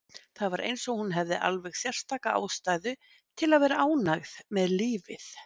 Það var eins og hún hefði alveg sérstaka ástæðu til að vera ánægð með lífið.